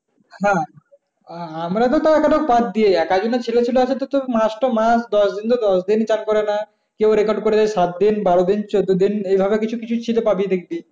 হ্যাঁ আহ আমরা তো তাউ একটা বাদ দি এক এক জনের ছেলে আছে তোর মাস তো মাস দশদিন তো দশদিন চ্যান করে না। কেউ record করছে সাতদিন, বারোদিন, চোদ্দোদিন এইভাবে কিছু কিছু ছেলে পাবি দেখবি।